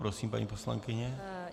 Prosím, paní poslankyně.